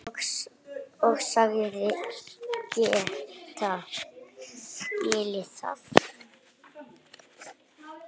Og sagðist geta skilið það.